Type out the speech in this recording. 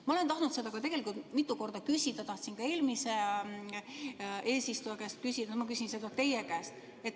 Ma olen tahtnud seda tegelikult mitu korda küsida, tahtsin ka eelmise eesistuja käest küsida, aga küsin seda teie käest.